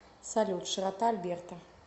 салют широта альберта